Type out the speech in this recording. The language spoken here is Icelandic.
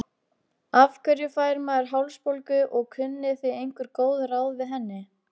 Blandaðir myrkvar eru tiltölulega sjaldgæfir.